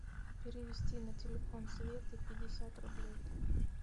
перевести на телефон светы пятьдесят рублей